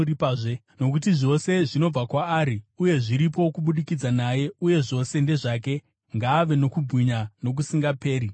Nokuti zvose zvinobva kwaari uye zviripo kubudikidza naye uye zvose ndezvake. Ngaave nokubwinya nokusingaperi! Ameni.